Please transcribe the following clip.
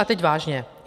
A teď vážně.